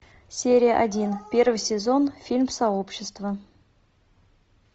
серия один первый сезон фильм сообщество